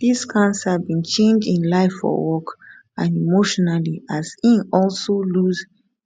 dis cancer bin change im life for work and emotionally as im also lose